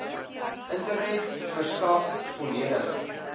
internet verskaf volledige